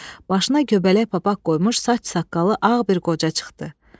Başına göbələk papaq qoymuş saç-saqqalı ağ bir qoca çıxdı.